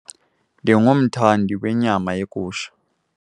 Ndingumthandi wenyama yegusha.